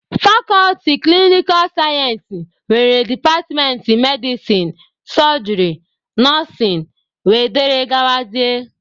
Fakọlti klinikal sayensị nwere departmentị medisin, sojịrị, nọsịn wdg.